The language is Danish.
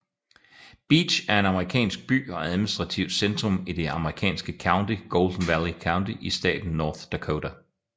Beach er en amerikansk by og administrativt centrum i det amerikanske county Golden Valley County i staten North Dakota